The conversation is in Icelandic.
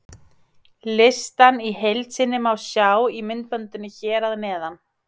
Listann í heild sinni má sjá í myndbandinu hér að neðan.